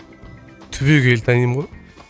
түбегейлі танимын ғой